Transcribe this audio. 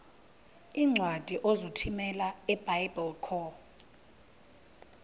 iincwadi ozithumela ebiblecor